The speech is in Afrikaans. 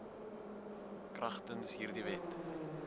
kragtens hierdie wet